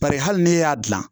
Bari hali n'e y'a dilan